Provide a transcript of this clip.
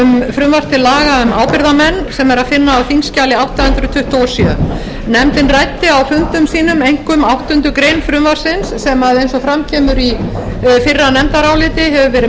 til laga um ábyrgðarmenn sem er að finna á þingskjali átta hundruð tuttugu og sjö nefndin ræddi á fundum sínum einkum áttundu greinar frumvarpsins sem eins og fram kemur í fyrra nefndaráliti hefur verið